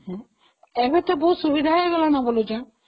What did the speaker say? ହଁ ଏବେ ତ ବହୁତ ସୁବିଧା ହେଇଗଲାଣି